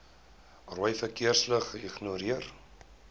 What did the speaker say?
rooi verkeersligte ignoreer